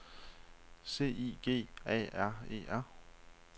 C I G A R E R